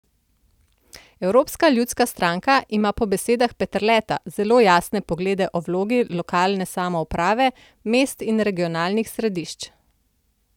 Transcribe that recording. Evropska ljudska stranka ima po besedah Peterleta zelo jasne poglede o vlogi lokalne samouprave, mest in regionalnih središč.